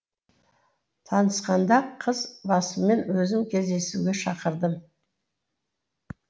танысқанда қыз басыммен өзім кездесуге шақырдым